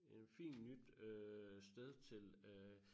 En fin nyt øh sted til øh